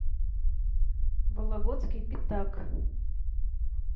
вологодский пятак